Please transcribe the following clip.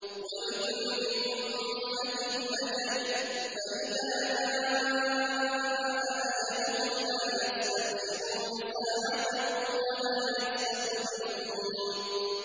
وَلِكُلِّ أُمَّةٍ أَجَلٌ ۖ فَإِذَا جَاءَ أَجَلُهُمْ لَا يَسْتَأْخِرُونَ سَاعَةً ۖ وَلَا يَسْتَقْدِمُونَ